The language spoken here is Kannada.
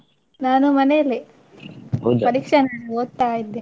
ನಾನು ಮನೆಯಲ್ಲೇ ಓದ್ತಾ ಇದ್ದೆ.